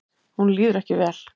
Honum líður ekki vel.